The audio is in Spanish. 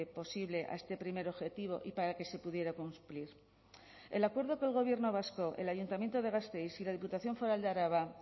posible a este primer objetivo y para que se pudiera cumplir el acuerdo que el gobierno vasco el ayuntamiento de gasteiz y la diputación foral de araba